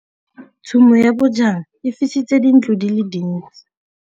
Tshumô ya bojang e fisitse dintlo di le dintsi.